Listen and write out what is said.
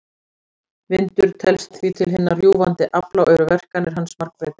Vindur telst því til hinna rjúfandi afla og eru verkanir hans margbreytilegar.